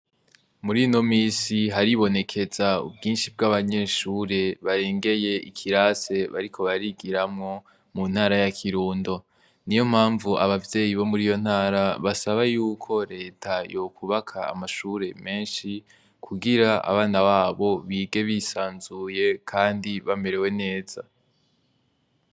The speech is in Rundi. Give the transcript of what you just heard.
Muri no minsi haribonekeza ubwinshi bw'abanyeshure barengeye ikirase bariko barigiramwo mu ntara ya kirundo ni yo mpamvu abavyeyi bo muri iyo ntara basaba yuko leta yokubaka amashure menshi kugira abana babo bige bisanzuye, kandi bamerewe neza.